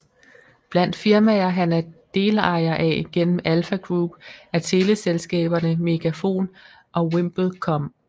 Blandt firmaer han er delejer af gennem Alfa Group er teleselskaberne Megafon og VimpelCom